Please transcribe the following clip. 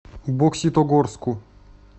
бокситогорску